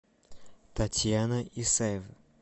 татьяна исаева